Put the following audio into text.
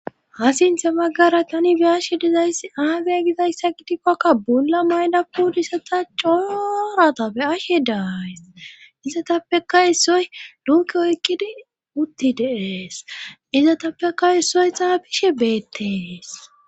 Ha sinthe baggara tani biyashe dizayssi aage gizayssa gitifakka bula mayla pudisata coooratapbe ashe daays izatappeka issoy luuke oykkidi utti deees izatappeka issoy xaabishe beettees